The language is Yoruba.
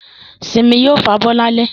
Simi yóò fabọ́ lálẹ́